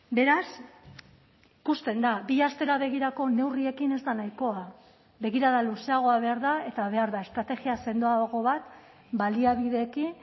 beraz ikusten da bi astera begirako neurriekin ez da nahikoa begirada luzeagoa behar da eta behar da estrategia sendoago bat baliabideekin